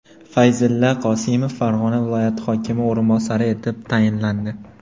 Fayzulla Qosimov Farg‘ona viloyati hokimi o‘rinbosari etib tayinlandi.